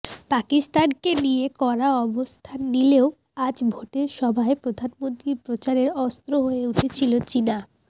পাকিস্তানকে নিয়ে কড়া অবস্থান নিলেও আজ ভোটের সভায় প্রধানমন্ত্রীর প্রচারের অস্ত্র হয়ে উঠেছিল চিনা